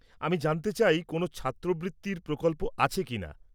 আমি জানতে চাই কোনও ছাত্রবৃত্তির প্রকল্প আছে কিনা।